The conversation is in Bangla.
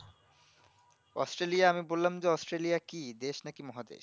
অস্ট্রলিয়া আমি বললাম যে অস্ট্রলিয়া দেশ নাকি মহাদেশ